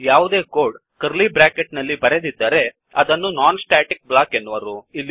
ಯಾವುದೇ code curly bracket ನಲ್ಲಿ ಬರೆದಿದ್ದಲ್ಲಿ ಅದನ್ನು ನಾನ್ ಸ್ಟ್ಯಾಟಿಕ್ ಬ್ಲಾಕ್ ಎನ್ನುವರು